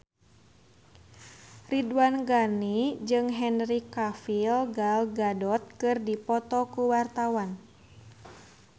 Ridwan Ghani jeung Henry Cavill Gal Gadot keur dipoto ku wartawan